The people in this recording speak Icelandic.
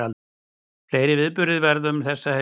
Fleiri viðburðir verða um þessa helgi